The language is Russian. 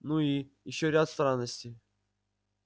ну и ещё ряд странностей